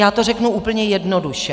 Já to řeknu úplně jednoduše.